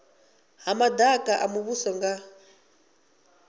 ha madaka a muvhuso nga